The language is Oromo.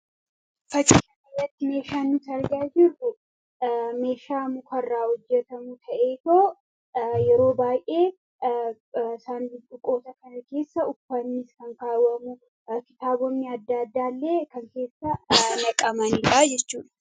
Fakkii kana irratti meeshaan nuti argaa jirru muka irraa kan hojjetamu ta'ee yeroo baay'ee sanduqa kana keessa uffanni kan ka'amu. Kitaabonni adda addaa illee kan keessaa naqamanidha jechuudha.